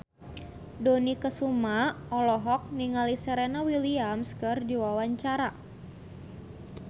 Dony Kesuma olohok ningali Serena Williams keur diwawancara